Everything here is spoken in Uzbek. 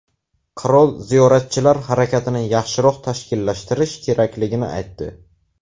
Qirol ziyoratchilar harakatini yaxshiroq tashkillashtirish kerakligini aytdi.